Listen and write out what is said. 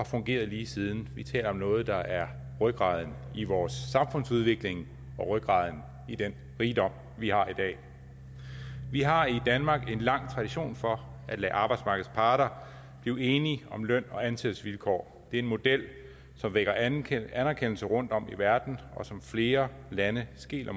fungeret lige siden vi taler om noget der er rygraden i vores samfundsudvikling rygraden i den rigdom vi har i dag vi har i danmark en lang tradition for at lade arbejdsmarkedets parter blive enige om løn og ansættelsesvilkår det er en model som vækker anerkendelse anerkendelse rundtom i verden og som flere lande skeler